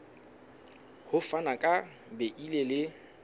ho fana ka beile le